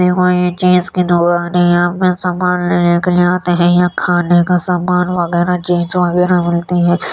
ये कोई ये चीज़ की दुकान है। यहाँ पे सामान लेने के लिए आते हैं। यहाँ खाने का सामान वगैरा जींस वगैरा मिलती हैं।